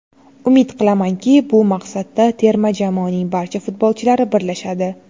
Umid qilamanki, bu maqsadda terma jamoaning barcha futbolchilari birlashadi.